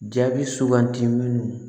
Jaabi sugandi minnu